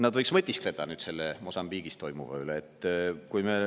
Nad võiksid nüüd mõtiskleda Mosambiigis toimuva üle.